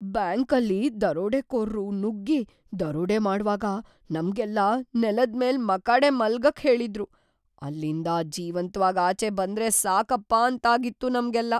ಬ್ಯಾಂಕಲ್ಲಿ ದರೋಡೆಕೋರ್ರು ನುಗ್ಗಿ ದರೋಡೆ ಮಾಡ್ವಾಗ ನಮ್ಗೆಲ್ಲ ನೆಲದ್ಮೇಲ್‌ ಮಕಾಡೆ ಮಲ್ಗಕ್‌ ಹೇಳಿದ್ರು, ಅಲ್ಲಿಂದ ಜೀವಂತ್ವಾಗ್‌ ಆಚೆ ಬಂದ್ರೆ ಸಾಕಪ್ಪ ಅಂತಾಗಿತ್ತು ನಮ್ಗೆಲ್ಲ.